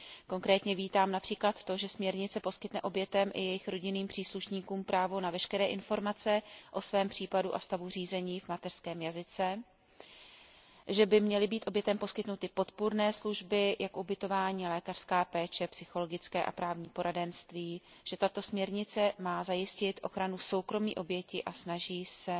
Konkrétně vítám například to, že směrnice poskytne obětem i jejich rodinným příslušníkům právo na veškeré informace o svém případu a stavu řízení v mateřském jazyce, že by měly být obětem poskytnuty podpůrné služby jako ubytování, lékařská péče, psychologické a právní poradenství, že tato směrnice má zajistit ochranu soukromí oběti, a snaží se